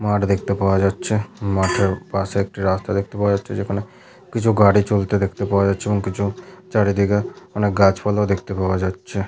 মাঠ দেখতে পাওয়া যাচ্ছে ।মাঠের পাশে একটি রাস্তা দেখতে পাওয়া যাচ্ছে যেখানে কিছু গাড়ি চলতে দেখতে পাওয়া যাচ্ছে এবং কিছু চারিদিকে অনেক গাছপালা ও দেখতে পাওয়া যাচ্ছে --